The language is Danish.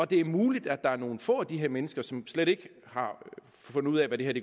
det er muligt der er nogle få af de her mennesker som slet ikke har fundet ud af hvad det her